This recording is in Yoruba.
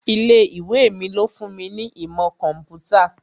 Ilé ìwé mi ló fún mi ní ìmọ̀ kọ̀ḿpútà